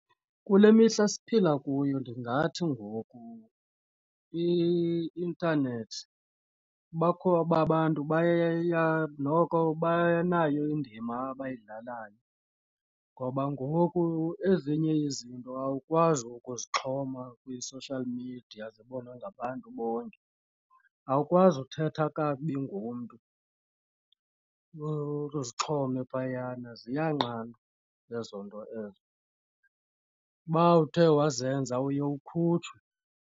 Kule mihla siphila kuyo ndingathi ngoku i-intanethi bakho abantu baye noko banayo indima abayidlalayo ngoba ngoku ezinye izinto awukwazi ukuzixhoma kwi-social media zibonwe ngabantu bonke. Awukwazi uthetha kakubi ngomntu uzixhome phayana, ziyanqandwa ezo nto ezo. Uba uthe wazenza uye ukhutshwe.